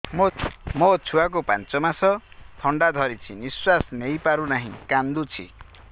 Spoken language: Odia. ମୋ ଛୁଆକୁ ପାଞ୍ଚ ମାସ ଥଣ୍ଡା ଧରିଛି ନିଶ୍ୱାସ ନେଇ ପାରୁ ନାହିଁ କାଂଦୁଛି